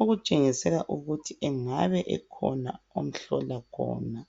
okutshengisela ukuthi kukhona omhlola khona.